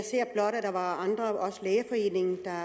der var andre også lægeforeningen der